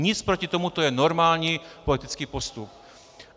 Nic proti tomu, to je normální politický postup.